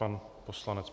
Pan poslanec.